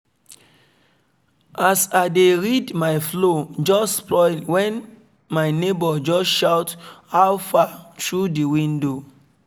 as i dey read my flow just spoil when my neighbor just shout 'how far' through the window